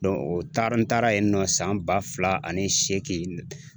o taara n taara yen nɔ san ba fila ani seegin